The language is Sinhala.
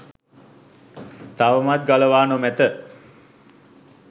තවමත් ගලවා නොමැත.